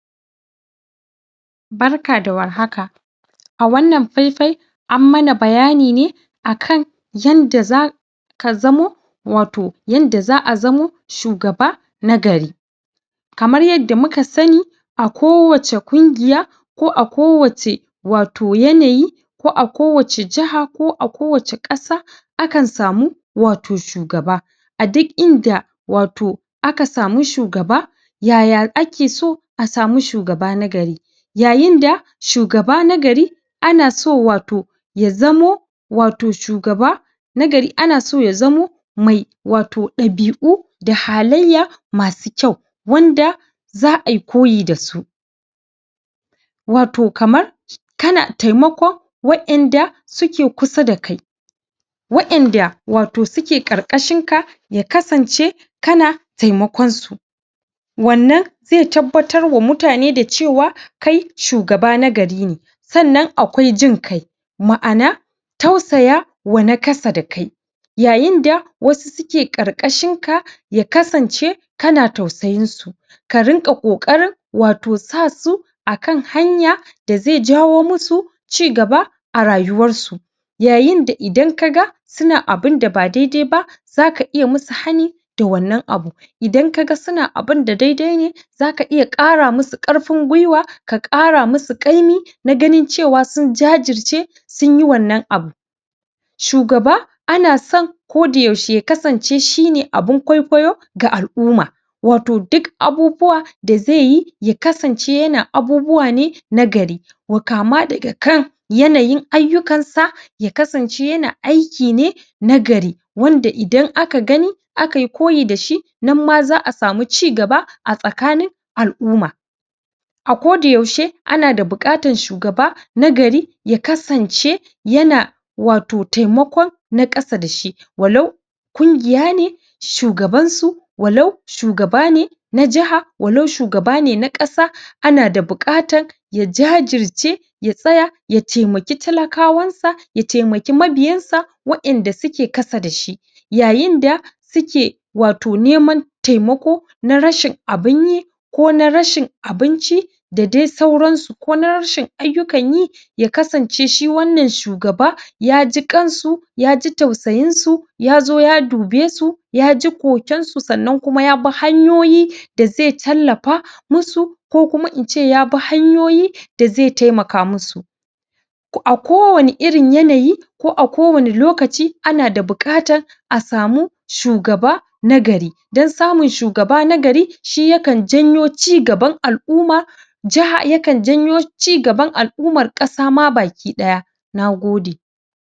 barka da warhaka a wannan faifai ammana bayanine akan yanda zaka ka zamo yadda za'a zamo shugaba nagari kamar yadda mukasani a kowace kungiya ko a kowace wato yanayi ko awace jaha ko wacce kasa akan samu wato shugaba a duk inda wato a kasamu shugaba yaya ake so a sami shugaba nagari yayinda shugaba nagari ana so wato yazamo wato shugaba nagari ana so ya zamo mai wato dabi'u da hallayya masu kyau wanda za'a yi koyi da su wato kamar kana temakon wadan da suke kusa da kai wadanda wato suke karkashinka ya kasance kana temakon su wannan zai tabbatar wa mutane cewa kai shugaba na gari ne sannan akwai jiƙai ma'ana tausayawa na ƙasa da kai yayinda wasu suke ƙarƙashinka ya kasance kana tausayinsu ka dinga ƙoƙarin wato sasu akan hanya da zai jawo musu cigaba a rayuwan su yayin da idan ka ga suna abunda ba daidai ba zaka iya musu hani da wannan abun idan kaga suna abun da daidai ne zaka iya kara musu ƙarfin gwuiwa ka ƙara musu ƙaimi na ganin cewa sun jajirce sun yi wannan abu shugaba ana son ya zamo ko da yaushe shine abun kokayo ga al'umma wato duk abubuwa da zaiyi ya kasance yana abubuwa nagari kama daga kan yayin ayyukansa ya kasance yana aiki ne nagari wanda idan akayi aka yi koyi da shi nan ma za'a samu cigaba a tsakanin al'umma a koda yaushe ana bukatar shugaba nagari ya kasance yana wato temakon na ƙasa da shi wa lau ƙungiya ne shugabansu walau shugaba ne na jiha walau na kasa ne ana da bukatar ya jajirce ya tsaya ya temaki talakawansa ya temaki mabiyansa da suke kasa da shi yayinda suke wato neman temako na rashin abun yi ko na rashin abinci da dai sauransu ko na rashin abunyi ya kasance shi wannan shugaba ya ji kansu yaji tausayin su yazo ya dube su yaji koken su sannan kuma ya bi hanyoyi da zai tallafa musu ko kuma ince ya bi hanyoyi da zai temaka musu a kowani irin yanayi ko a kowani lokaci ana da bukatar a samu shugaba shugaba nagari dan samun shugaba nagari shi yakan janyo cigaban al'umma ya janyo cigaba cigaban al'ummar kasa baki daya nagode